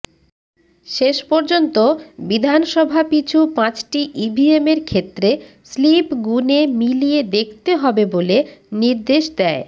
শেষ পর্যন্ত বিধানসভা পিছু পাঁচটি ইভিএমের ক্ষেত্রে স্লিপ গুনে মিলিয়ে দেখতে হবে বলে নির্দেশ দেয়